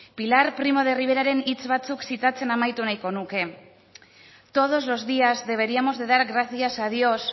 pilar primo de riveraren hitz batzuk zitatzen amaitu nahi nuke todos los días deberíamos de dar gracias a dios